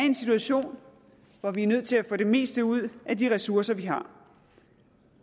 en situation hvor vi er nødt til at få det meste ud af de ressourcer vi har